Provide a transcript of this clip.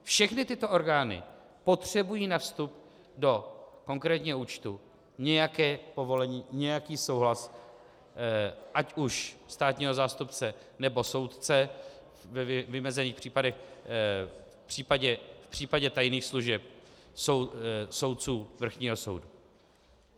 Všechny tyto orgány potřebují na vstup do konkrétního účtu nějaké povolení, nějaký souhlas ať už státního zástupce, nebo soudce, ve vymezených případech, v případě tajných služeb, soudců Vrchního soudu.